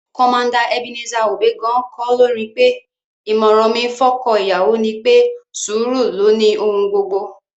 Commander Ebenezer Obey gan-an kọ́ lórin pé: "ìmọ̀ràn mi fọ́kọ́ ìyàwó ni pé, sùúrù ló ni ohun gbogbo"